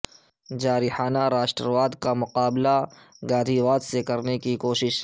جارحانہ راشٹر واد کا مقابلہ گاندھی واد سے کرنے کی کوشش